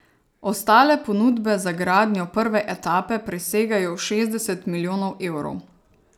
Ostale ponudbe za gradnjo prve etape presegajo šestdeset milijonov evrov.